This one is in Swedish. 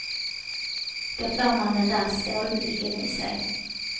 Då får man den där stålblicken i sig.